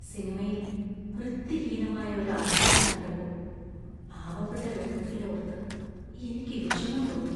സിനിമയിൽ വൃത്തിഹീനമായ ഒരു ആശുപത്രി കണ്ടപ്പോൾ പാവപ്പെട്ട രോഗികളെ ഓർത്ത് എനിക്ക് വിഷമം തോന്നി.